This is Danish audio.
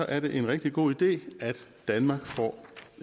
er det en rigtig god idé at danmark får